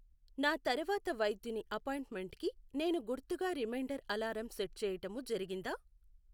నా తరవాతి వైద్యుని అపాయింట్మెంట్ కి నేను గుర్తుగా రిమైండర్ అలారం సెట్ చెయ్యటము జరిగిందా